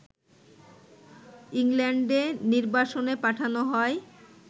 ইংল্যান্ডে নির্বাসনে পাঠানো হয়